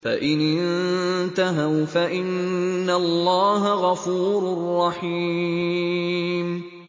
فَإِنِ انتَهَوْا فَإِنَّ اللَّهَ غَفُورٌ رَّحِيمٌ